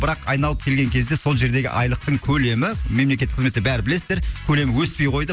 бірақ айналып келген кезде сол жердегі айлықтың көлемі мемлекеттік қызметті бәрі білесіздер көлемі өспей қойды